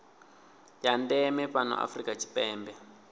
ya ndeme fhano afrika tshipembe